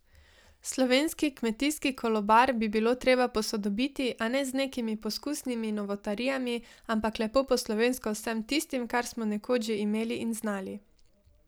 Slovenski kmetijski kolobar bi bilo treba posodobiti, a ne z nekimi poskusnimi novotarijami, ampak lepo po slovensko z vsem tistim, kar smo nekoč že imeli in znali.